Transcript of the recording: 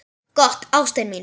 Gott, ástin mín.